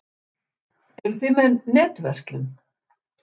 Eruð þið með netverslun?